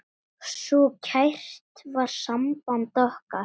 Svo kært var samband okkar.